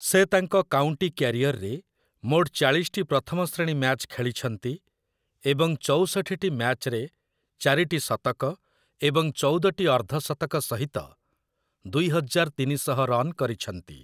ସେ ତାଙ୍କ କାଉନ୍ଟି କ୍ୟାରିଅରରେ ମୋଟ ଚାଳିଶଟି ପ୍ରଥମ ଶ୍ରେଣୀ ମ୍ୟାଚ୍ ଖେଳିଛନ୍ତି, ଏବଂ ଚଉଷଠିଟି ମ୍ୟାଚ୍‌ରେ ଚାରିଟି ଶତକ ଏବଂ ଚଉଦଟି ଅର୍ଦ୍ଧଶତକ ସହିତ ଦୁଇହଜାର୍‌ ତିନିଶହ ରନ୍ କରିଛନ୍ତି ।